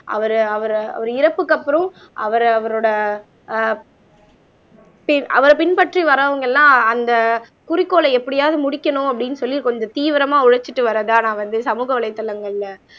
அவர அவரு அவரு இறப்புக்கு அப்புறம் அவரு அவரோட ஆஹ் சீ அவரைப் பின்பற்றி வர்றவங்க எல்லாம் அந்த குறிக்கோளை எப்படியாவது முடிக்கணும் அப்படின்னு சொல்லி கொஞ்சம் தீவிரமா உழைச்சிட்டு வர்றதா நான் வந்து சமூக வலைத்தளங்கள்ல